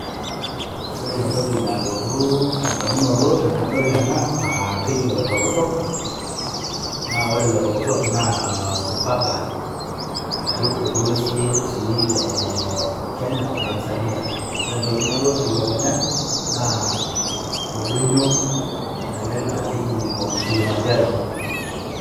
Ore entoki nalotu tedamunoto tenadol ena, ah keji Oloitokitok, na ore Oloitokitok, na mpaka ashu orpolosie si le Kenya o Tanzania. Ore entoki nalotu telukunya, naa oldonyo ele la keji Mount Kilimanjaro.